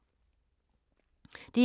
DR2